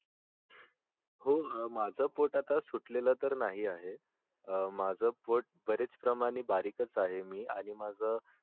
हो माझ पोट आता सुटलेल तर नाही आहे अं माझ पोट बऱ्याच प्रमाणे बरीकच आहे मी आणि माझ